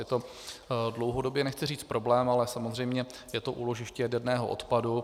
Je to dlouhodobě, nechci říct problém, ale samozřejmě je to úložiště jaderného odpadu.